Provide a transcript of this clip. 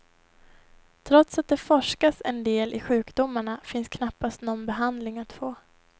Trots att det forskas en del i sjukdomarna finns knappast någon behandling att få.